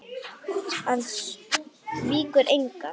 Örlög Brans eru enn óráðin.